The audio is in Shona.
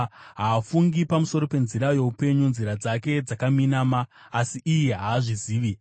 Haafungi pamusoro penzira youpenyu; nzira dzake dzakaminama, asi iye haazvizivi.